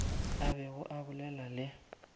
a bego a bolela le